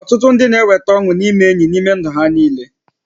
Ọtụtụ ndị na-enweta ọṅụ n'ime enyi n'ime ndụ ha niile